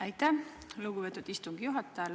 Aitäh, lugupeetud istungi juhataja!